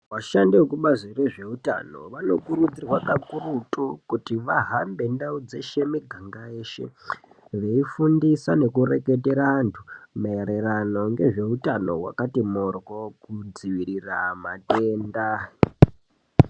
Vashandi vekubazi rezveutano vano kurudzirwa kakurutu kuti. Vahambe ndau dzeshe miganga yeshe veifundisa nekureketera antu mairirano ngezveutano wakati morwo kudziirira matenda